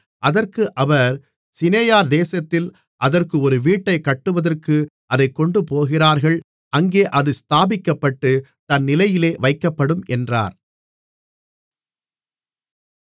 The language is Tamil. அதற்கு அவர் சிநெயார் தேசத்திலே அதற்கு ஒரு வீட்டைக் கட்டுவதற்கு அதைக் கொண்டுபோகிறார்கள் அங்கே அது ஸ்தாபிக்கப்பட்டு தன் நிலையிலே வைக்கப்படும் என்றார்